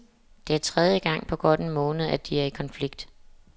Det er tredje gang på godt en måned, at de er i konflikt.